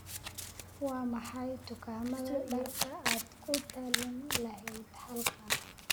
Waa maxay dukaamada dharka aad ku talin lahayd halkan?